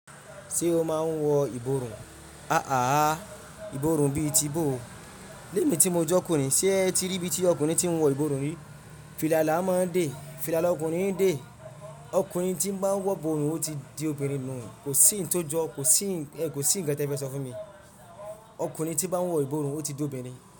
Ṣé o máa ń wọ ìborùn? Ààhàhà ìborùn bí i ti bo. Lé mí tí mo jọ́ ọkùnrin, ṣé ẹ ti rí bí tí ọkùnrin ti ń wọ ìborùn rí? Fìlà là á máa dé. Fìlà ọkùnrin ń dé. Ọkùnrin tí bá ń wọ ìborùn, ó ti di obìnrin nù. Kò sí ń tọ́jọ́, kò sí ń, ẹ kò sí ń kan tí ẹ fẹsọ fún mi. Ọkùnrin tí bá ń wọ ìborùn, ó ti di obìnrin.